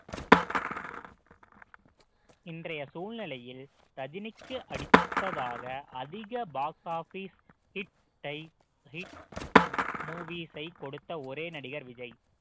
இன்றைய சூழ்நிலையில் ரஜினிக்கு அடுத்ததாக அதிக box office hit ஐ hit அஹ் movies ஐ கொடுத்த ஒரே நடிகர் விஜய்